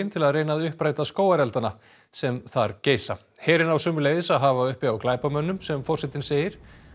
til að reyna að uppræta skógarelda sem þar geisa herinn á sömuleiðis að hafa upp á glæpamönnum sem forsetinn segir